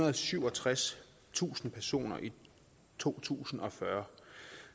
og syvogtredstusind personer i to tusind og fyrre